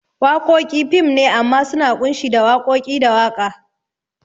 Wakoki fim ne amma suna kunshi da wakoki ko waka